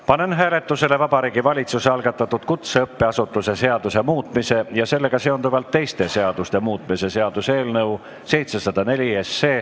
Panen hääletusele Vabariigi Valitsuse algatatud kutseõppeasutuse seaduse muutmise ja sellega seonduvalt teiste seaduste muutmise seaduse eelnõu 704.